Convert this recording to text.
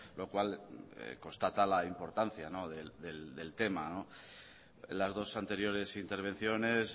lo cual constata la importancia del tema las dos anteriores intervenciones